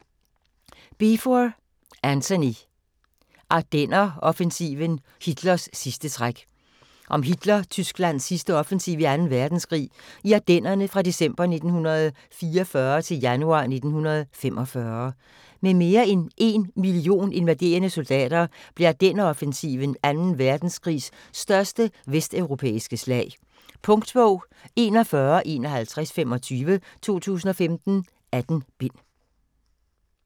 Beevor, Antony: Ardenneroffensiven: Hitlers sidste træk Om Hitler-Tysklands sidste offensiv i 2. verdenskrig, i Ardennerne fra december 1944 til januar 1945. Med mere end 1 million involverede soldater blev Ardenneroffensiven 2. verdenskrigs største vesteuropæiske slag. Punktbog 415125 2015. 18 bind.